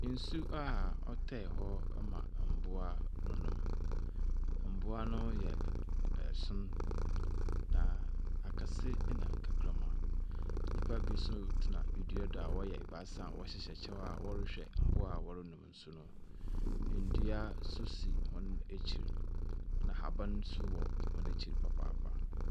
Nsu a ɔtae hɔ ma mboa num. Mboa no ɛson na akɛsi nna nkakraba. Nipa bi nso tena edua do a wɔyɛ ebaasa a wɔhyihyɛ ɛkyɛw a wɔrehwɛ mboa a wɔre num nsu no. Ndua so si wɔn ekyi na haban nso wɔ wɔn ekyi papaapa.